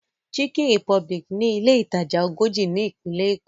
Chicken republic ni ilé ìtajà ogójì ni Ìpínlẹ̀ Èkó